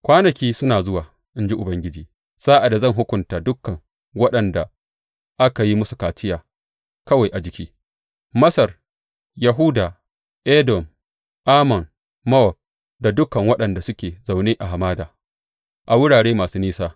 Kwanaki suna zuwa, in ji Ubangiji, sa’ad da zan hukunta dukan waɗanda aka yi musu kaciya kawai a jiki, Masar, Yahuda, Edom, Ammon, Mowab da dukan waɗanda suke zaune a hamada a wurare masu nisa.